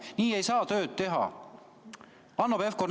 Nii ei saa tööd teha, Hanno Pevkur!